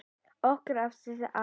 Okkar ástkæri afi.